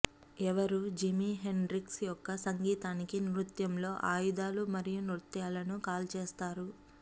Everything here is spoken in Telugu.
ఎవరూ జిమి హెండ్రిక్స్ యొక్క సంగీతానికి నృత్యంలో ఆయుధాలు మరియు నృత్యాలను కాల్చేస్తారు